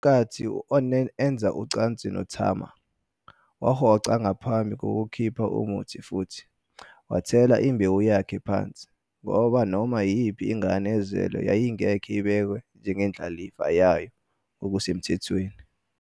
Ngenkathi u-Onan enza ucansi noTamar, wahoxa ngaphambi kokukhipha umuthi futhi "wathela imbewu yakhe phansi", ngoba noma iyiphi ingane ezelwe yayingeke ibhekwe njengendlalifa yayo ngokusemthethweni.